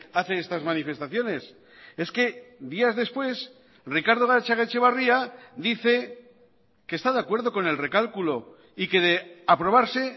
hace estas manifestaciones es que días después ricardo gatzagaetxebarria dice que está de acuerdo con el recálculo y que de aprobarse